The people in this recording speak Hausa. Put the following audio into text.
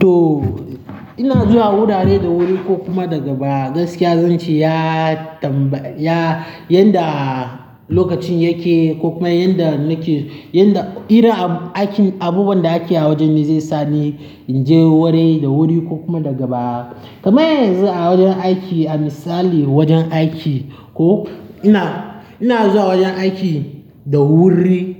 To, ina zuwa wurare da wuri ko kuma daga baya. Gaskiya zan ce ya tambaya yadda lokacin yake ko kuma yadda nake, yadda irin aikin abubuwan da ake a wajen zai sa ni in je wurai da wuri ko kuma daga baya. Kamar yanzu a wajen aiki, a misali wajen aiki ko ina, ina zuwa wajen aiki da wuri